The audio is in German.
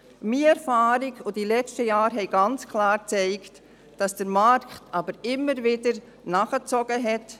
Meine Erfahrung sowie die letzten Jahre haben klar gezeigt, dass der Markt beim Absatz von Biolebensmitteln immer wieder nachgezogen hat.